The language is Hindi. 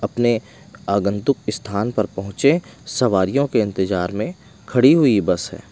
अपने आगंतुक स्थान पर पहुंचे सवारी के इंतजार में खड़ी हुई बस है।